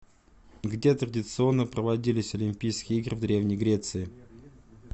где традиционно проводились олимпийские игры в древней греции